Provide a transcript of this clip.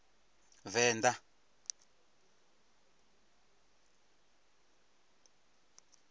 venda